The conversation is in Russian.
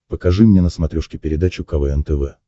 покажи мне на смотрешке передачу квн тв